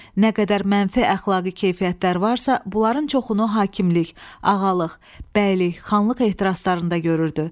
Nə qədər mənfi əxlaqi keyfiyyətlər varsa, bunların çoxunu hakimlik, ağalıq, bəylik, xanlıq ehtiraslarında görürdü.